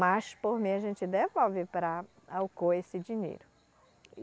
Mas por mim a gente devolve para a Alcoa esse dinheiro.